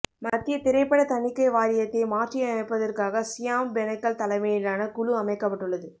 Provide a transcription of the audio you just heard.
மத்திய திரைப்பட தணிக்கை வாரியத்தை மாற்றி அமைப்பதற்காக சியாம் பெனகல் தலைமையிலான குழு அமைக்கப்பட்டுள்ளது